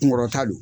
Kunkɔrɔta don